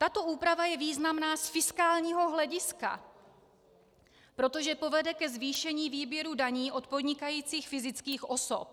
Tato úprava je významná z fiskálního hlediska, protože povede ke zvýšení výběru daní od podnikajících fyzických osob.